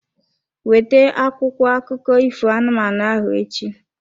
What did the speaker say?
Weta akwụkwọ akụkọ ifo anụmanụ ahụ echi.